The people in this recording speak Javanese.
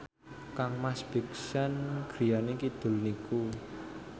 kangmas Big Sean griyane kidul niku